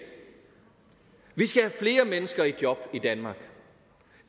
vi skal have flere mennesker i job i danmark